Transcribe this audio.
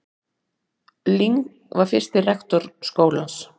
Ling var fyrsti rektor skólans.